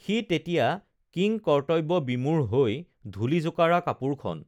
সি তেতিয়া কিংকৰ্তব্য বিমূঢ় হৈ ধূলি জোকাৰা কাপোৰখন